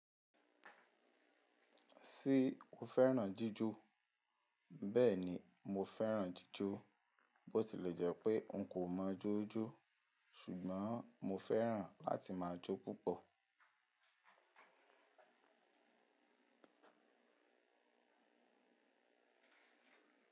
Ṣé o fẹ́ràn jíjọ? Bẹ́ẹ̀ni, mo fẹ́ràn jíjọ. Bót ilẹ̀ jẹ́ pé n kò mọ jó jó, ṣùgbọ́n mo fẹ́ràn láti máa jó púpọ̀.